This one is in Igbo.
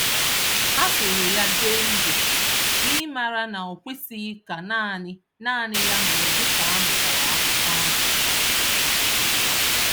Ha soro ya jee ije, n’ịmara na okwesịghị ka nanị nanị ya nọrọ dịka anụchara akụkọ ahụ